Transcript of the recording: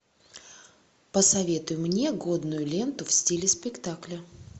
посоветуй мне годную ленту в стиле спектакля